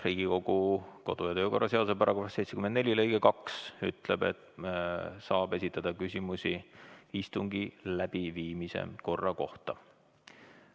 Riigikogu kodu- ja töökorra seaduse § 74 lõige 2 ütleb, et küsimusi saab esitada istungi läbiviimise korra kohta.